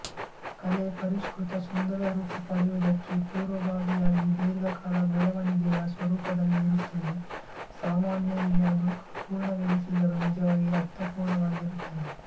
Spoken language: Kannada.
ಕಲೆ ಪರಿಷ್ಕೃತ ಸುಂದರ ರೂಪ ಪಡೆಯುವುದಕ್ಕೆ ಪುರ್ವಭಾವಿಯಾಗಿ ದೀರ್ಘಕಾಲ ಬೆಳೆವಣಿಗೆಯ ಸ್ವರೂಪದಲ್ಲಿ ಇರುತ್ತದೆ ಸಾಮಾನ್ಯರಿಗೆ ಅದು ಅಪೂರ್ಣವೆನಿಸಿದರೂ ನಿಜವಾಗಿ ಅರ್ಥಪೂರ್ಣವಾಗಿರುತ್ತದೆ